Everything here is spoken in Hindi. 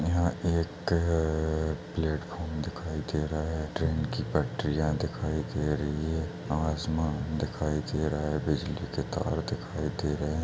यह एक प्लेटफॉर्म दिखाई दे रहा है। ट्रेन की पटरियाँ दिखाई दे रही है। आसमान दिखाई दे रहा है। बिजली के तार दिखाई दे रहे हैं।